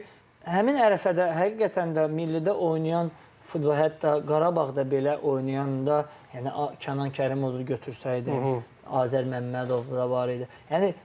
Çünki həmin ətrafəda həqiqətən də millidə oynayan, hətta Qarabağda belə oynayanda, yəni Kənan Kərimovu da götürsəydi, Azər Məmmədov da var idi.